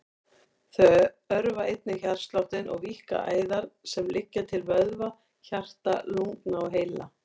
Þau örva einnig hjartsláttinn og víkka æðar sem liggja til vöðva, hjarta, lungna og heila.